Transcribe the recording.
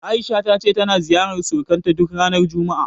A'isha ta ce tana ziyarar surukanta duk ranar juma'a.